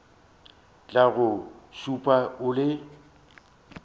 tla go šupa o le